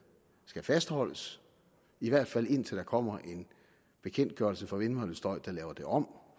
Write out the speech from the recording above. skal fastholdes i hvert fald indtil der kommer en bekendtgørelse for vindmøllestøj der laver det om